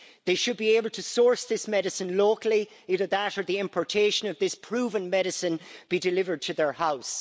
They should be able to source this medicine locally, either that or the importation of this proven medicine be delivered to their house.